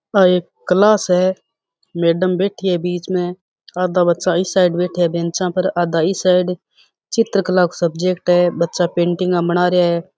आ एक क्लास है मैडम बैठी है बिच में आधा साइड पर बैठा आधा इस साइड बेंचा पर चित्र कला सब्जेक्ट है बच्चा पेंटिंग बना रहे है।